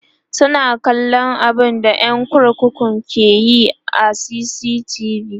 suna kallan abunda ƴan kurkukun ke Yi a CCTV